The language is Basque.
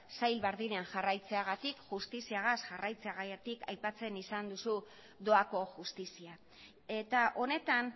sail berdinean jarraitzeagatik justiziagaz jarraitzeagatik aipatzen izan duzun doako justizia eta honetan